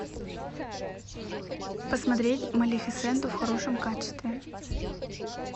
посмотреть малефисенту в хорошем качестве